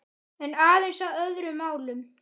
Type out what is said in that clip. En aðeins að öðrum málum.